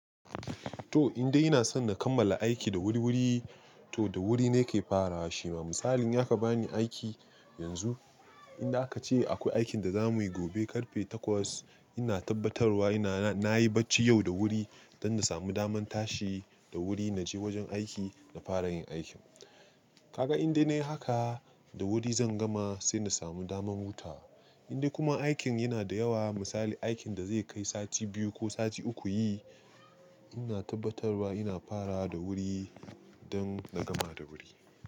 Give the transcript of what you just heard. To indai ina so na kammala aiki da wuriwuri, to da wuri nake farawa shi. To misali in zaka bani aiki yanzu, inda aka ce akwai aikin da za muyi gobe karfe takwas. Ina tabbatarwa ina, na yi bacci yau da wuri don na samu damar tashi da wuri na je wajen aiki na fara yin aikin. Kaga indai nayi haka, da wuri zan gama sai na samu damar wuta. Indai kuma aikin yana da yawa, misali aikin da zai kai sati biyu ko sati uku yi, ina tabbatarwa ina fara da wuri don na gama da wuri.